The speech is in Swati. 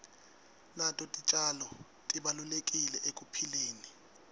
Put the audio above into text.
nato titjalo tibalulekile ekuphileni